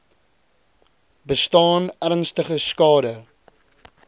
bestaan ernstige skade